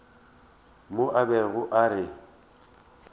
mo a bego a re